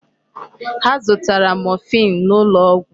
Ha zụtara morphine n'ụlọ ọgwụ.